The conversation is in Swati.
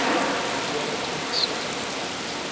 ngekuya kwetimiso tangekhatsi